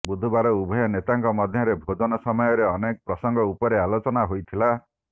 ବୁଧବାର ଉଭୟ ନେତାଙ୍କ ମଧ୍ୟରେ ଭୋଜନ ସମୟରେ ଅନେକ ପ୍ରସଙ୍ଗ ଉପରେ ଆଲୋଚନା ହୋଇଥିଲା